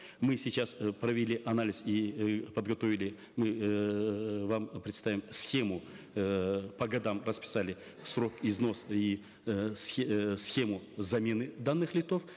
мы сейчас э провели анализ и э подготовили мы эээ вам представим схему эээ по годам расписали срок износ и э э схему замены данных лифтов